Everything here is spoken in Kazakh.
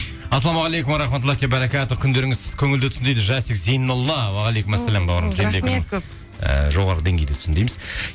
ассалаумағалейкум уа рахматуллахи уа баракатух күндеріңіз көңілді өтсін дейді жасик зейнолла уағалейкумассалям бауырым і жоғарғы деңгейде өтсін дейміз